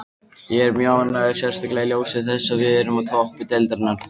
Ég er mjög ánægður, sérstaklega í ljósi þess að við erum á toppi deildarinnar.